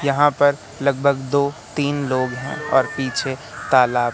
यहां पर लगभग दो तीन लोग हैं और पीछे तालाब--